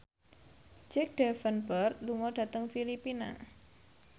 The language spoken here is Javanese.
Jack Davenport lunga dhateng Filipina